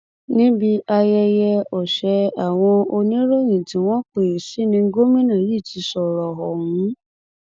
níbi ayẹyẹ ọsẹ àwọn oníròyìn tí wọn pè é sí ní gómìnà yìí ti sọrọ ọhún